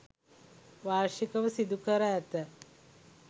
වාර්ෂිකව සිදු කර ඇත.